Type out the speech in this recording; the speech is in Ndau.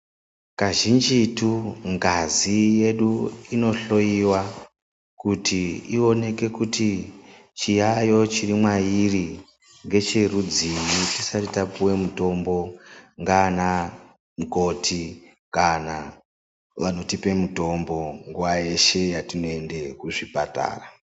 Kazhinjitu ngazi yedu inohloyiwa kuti ioneke kuti chiyaiyo chiri mwairi ngecherudzii tisati tapiwa mutombo ngaana mukoti kana vanotipa mutombo nguwa yeshe yatinoenda kuzvibhedhlera.